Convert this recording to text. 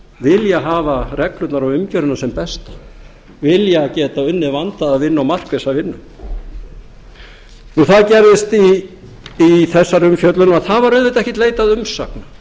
vilja hafa reglurnar og umgjörðina sem besta vilja geta unnið vandaða vinnu og markvissa vinnu það gerðist í þessari umfjöllun og það var auðvitað ekkert leitað umsagna